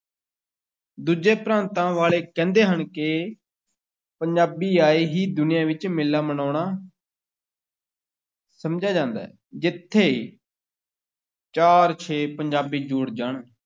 ਦੂਜੇ ਪ੍ਰਾਂਤਾਂ ਵਾਲੇ ਕਹਿੰਦੇ ਹਨ ਕਿ ਪੰਜਾਬੀ ਆਏ ਹੀ ਦੁਨੀਆਂ ਵਿੱਚ ਮੇਲਾ ਮਨਾਉਣਾ ਸਮਝਿਆ ਜਾਂਦਾ ਹੈ, ਜਿੱਥੇ ਚਾਰ-ਛੇ ਪੰਜਾਬੀ ਜੁੜ ਜਾਣ,